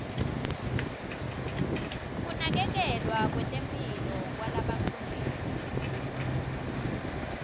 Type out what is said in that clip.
kunakekelwa kwetemphilo kwalabakhulelwe